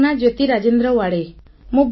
ମୋ ନାମ ଜ୍ୟୋତି ରାଜେନ୍ଦ୍ର ୱାଡ଼େ